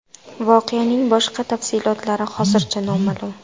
Voqeaning boshqa tafsilotlari hozircha noma’lum.